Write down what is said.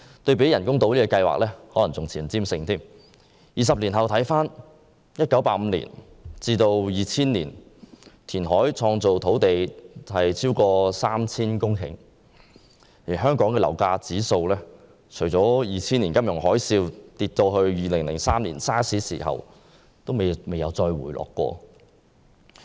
二十年過去了，我們回顧一下：香港在1985年至2000年填海造地超過 3,000 公頃，而本地樓價指數除了在2000年金融海嘯至2003年 SARS 爆發期間曾下跌外，便未有回落。